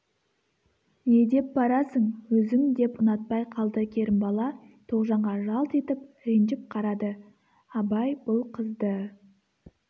не деп барасың өзің деп ұнатпай қалды керімбала тоғжанға жалт етіп ренжіп қарады абай бұл қызды